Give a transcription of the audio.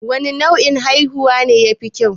Wane nau'in haihuwa ne ya fi kyau?